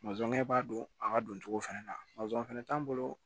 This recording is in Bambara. b'a don a ka don cogo fɛnɛ la fɛnɛ t'an bolo